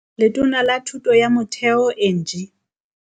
Letona la Thuto ya Motheo Angie